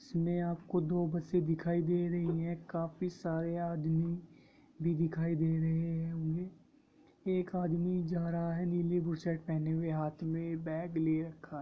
इसमे आपको दो बसे दिखाई दे रही है काफी सारा आदमी भी दिखाई दे रहे होंगे एक आदमी जा रहा है नीली बु शर्ट पहने हुए हाथ में बेग लिए रखा है।